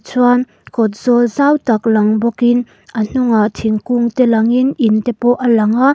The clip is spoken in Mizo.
chuan kawt zawl zau tak lang bawk in a hnungah thingkung te lang in in te pawh a lang a.